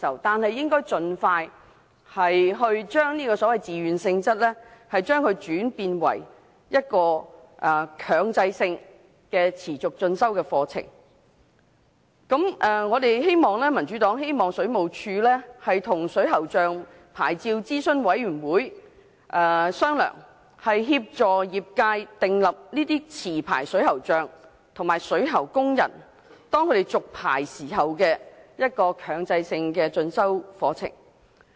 但亦應該盡快改為推行強制性持續進修課程。民主黨希望水務署跟水喉匠牌照諮詢委員會商討，協作業界訂立機制，規定持牌水喉匠及水喉工人續牌時修讀強制性進修課程。